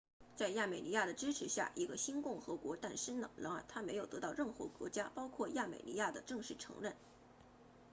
在亚美尼亚的支持下一个新共和国诞生了然而它没有得到任何国家包括亚美尼亚的正式承认